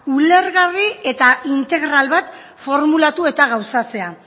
ulergarri eta integral bat formulatu eta gauzatzea